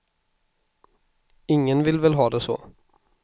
Ingen vill väl ha det så.